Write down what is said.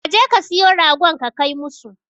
Ka je ka siyo ragon ka kai musu.